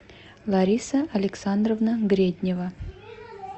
лариса александровна греднева